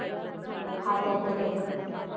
हा त्यातील एक.